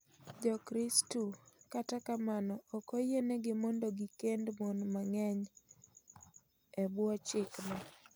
Jokristu kata kamano ok oyienegi mond gikend mon mang'eny e bwoo chik no